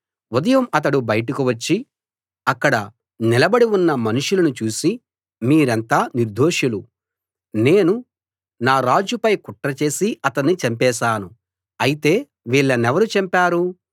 ఉదయం అతడు బయటకు వచ్చి అక్కడ నిలబడి ఉన్న మనుషులను చూసి మీరంతా నిర్దోషులు నేను నా రాజు పై కుట్ర చేసి అతణ్ణి చంపేశాను అయితే వీళ్ళనెవరు చంపారు